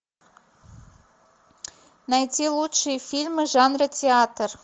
найти лучшие фильмы жанра театр